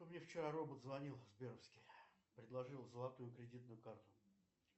мне вчера робот звонил сберовский предложил золотую кредитную карту